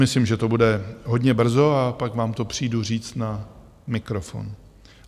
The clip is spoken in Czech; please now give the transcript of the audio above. Myslím, že to bude hodně brzy a pak vám to přijdu říct na mikrofon.